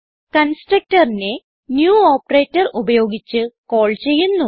Constructorനെ new operator ഉപയോഗിച്ച് call ചെയ്യുന്നു